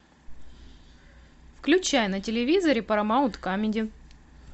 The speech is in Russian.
включай на телевизоре парамаунт камеди